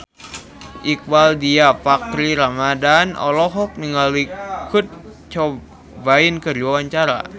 Iqbaal Dhiafakhri Ramadhan olohok ningali Kurt Cobain keur diwawancara